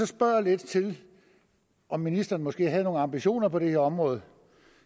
spørger lidt til om ministeren måske havde nogle ambitioner på det her område